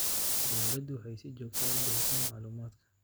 Dawladdu waxay si joogto ah u bixisaa macluumaadka.